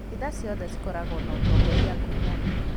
Kanitha ciothe ikoragwo na ũtongoria ngũrani